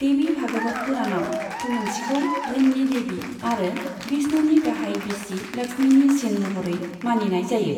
देवी भागवत पुराणआव तुलुन्सीखौ धोननि देवी आरो विष्णुनि गाहाय बिसि लक्ष्मीनि सिन महरै मानिनाय जायो।